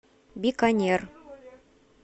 биканер